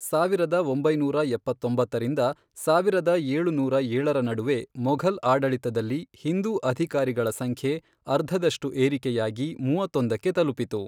ಸಾವಿರದ ಒಂಬೈನೂರ ಎಪ್ಪತ್ತೊಂಬತ್ತರಿಂದ ಸಾವಿರದ ಏಳುನೂರ ಏಳರ ನಡುವೆ ಮೊಘಲ್ ಆಡಳಿತದಲ್ಲಿ ಹಿಂದೂ ಅಧಿಕಾರಿಗಳ ಸಂಖ್ಯೆ ಅರ್ಧದಷ್ಟು ಏರಿಕೆಯಾಗಿ ಮೂವತ್ತೊಂದಕ್ಕೆ ತಲುಪಿತು.